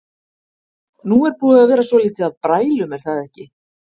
Nú er búið að vera svolítið af brælum er það ekki?